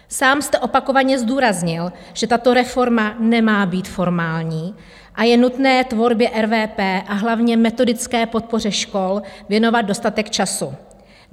Sám jste opakovaně zdůraznil, že tato reforma nemá být formální a je nutné tvorbě RVP, a hlavně metodické podpoře škol věnovat dostatek času.